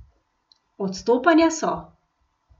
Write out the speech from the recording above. Odstopanja so.